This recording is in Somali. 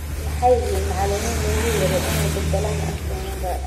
Maxay yihiin macalimiin loogu yeero inay badalaan Arsene Wenger?